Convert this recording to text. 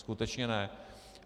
Skutečně ne.